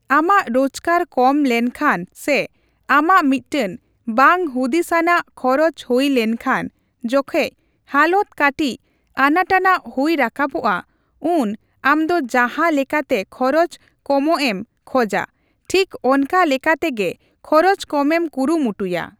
ᱟᱢᱟᱜ ᱨᱳᱡᱜᱟᱨ ᱠᱚᱢ ᱞᱮᱱᱠᱷᱟᱱ ᱥᱮ ᱟᱢᱟᱜ ᱢᱤᱫᱴᱮᱱ ᱵᱟᱝ ᱦᱩᱫᱤᱥᱟᱱᱟᱜ ᱠᱷᱚᱨᱚᱪ ᱦᱩᱭ ᱞᱮᱱᱠᱷᱟᱱ ᱡᱚᱠᱷᱮᱡ ᱦᱟᱞᱚᱛ ᱠᱟᱹᱴᱤᱡ ᱟᱱᱟᱴᱟᱱᱟᱜ ᱦᱩᱭ ᱨᱟᱠᱟᱵᱚᱜᱼᱟ, ᱩᱱ ᱟᱢᱫᱚ ᱡᱟᱦᱟᱸ ᱞᱮᱠᱟᱛᱮ ᱠᱷᱚᱨᱚᱪ ᱠᱚᱢᱚᱜ ᱮᱢ ᱠᱷᱚᱡᱟ ᱴᱷᱤᱠ ᱚᱱᱠᱟ ᱞᱮᱠᱟᱛᱮᱜᱤ ᱠᱷᱚᱨᱚᱪ ᱠᱚᱢᱮᱢ ᱠᱩᱨᱩᱢᱩᱴᱩᱭᱼᱟ ᱾